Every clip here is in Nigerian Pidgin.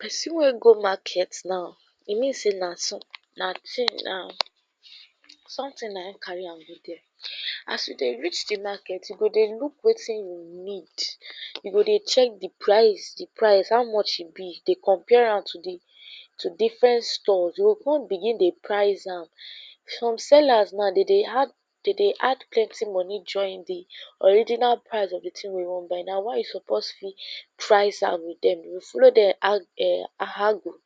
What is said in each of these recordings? pesin wey go market naw e mean say na son na tin naw sometin na en carry am go dere as yu dey reach di market yu go dey look wetiin yu ned yu go dey check di price di price haw much e bi dey compare am to di to different store yu go come begin dey price am some sellers naw de dey add dey dey add plenti moni join di original price of di tins wey we wan buy na why yu suppose free price am with dem you'll follow dem arg ehh argue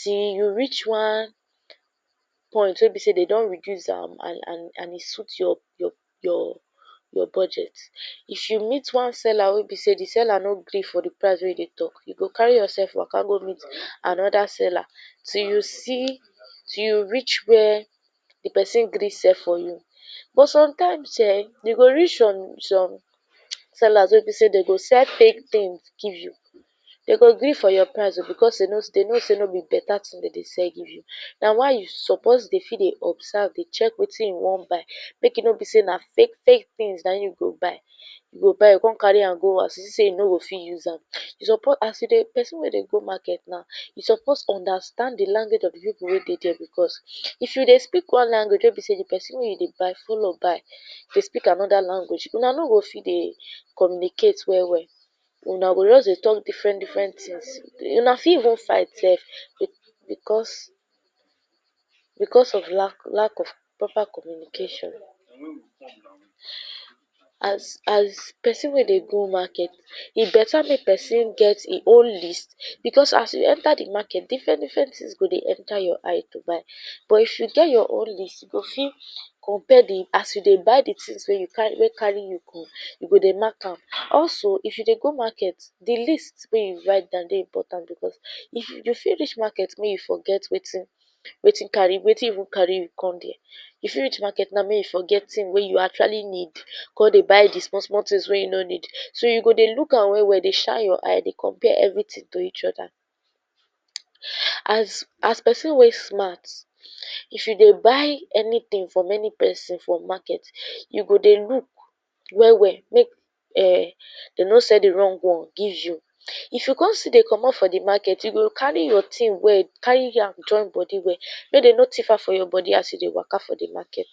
till yu reach one point wey be sey de don reduce am and and and e suit yorp yorp yor yor budget if yu meet one seller wey bi say di seller no gree for di price wey yu dey talk yu go carry yorself waka go meet anoda seller till yu see till yu reach where di pesin gree sell for yu but sometine eh de go reach some some sellers wey bi sey de go sell fake tins give yu de go gree for yor price o bikos sey de know sey no bi better tin dem dey sell give yu na why yu suppose dey fit dey observe dey check wetin yu wan buy make e no bi say na fake fake tins na yu go buy yu go buy come carry am go house yu see sey yu no go fit use am yu supo as yu dey pesin wey dey go market naw yu suppose undertand di language of di pipol wey dey dere bikos if yu dey speak one language wey bi sey di pesin wey yu dey buy follow buy if yu speak anoda language una no go fit dey communicate well well una go just dey talk different different tins una fit even fight sef bi bikos bikos of lack lack of proper communication as as pesin wey dey go market e better make pesin get hin own list bikos as yu enter di market different different tins go dey enter yor eye to buy buh if yu get yor own list yu go fi??? di as yu dey buy di tins wey yu carry wey carry yu go yu go dey mark am also if yu dey go market di list wey yu write down dey important bikos if yu if yu??? dis market make yu forget wetin wetin carry wetin even carry yu come dere yu reach market naw make yu forget tins wey yu actually need go dey buy di small small tins wey yu no need so yu dey look am well well dey shine yor eye dey compare evritin to each oda as as pesin wey smart if yu dey buy anitin from ani pesin from market yu go dey look well well make ehh dem no sell di wrong one give yu if yu come still dey commot for di market yu go carry yor tin well carry am join bodi well make dem no tif am from yor bodi as yu dey waka for di market